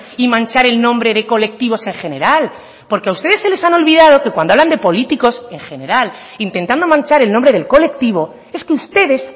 y manchar el nombre de colectivos en general porque a ustedes se les han olvidado que cuando hablan de políticos en general intentando manchar el nombre del colectivo es que ustedes